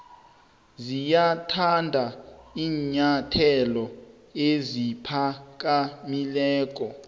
ziyathanda iinyathelo eziphakamileko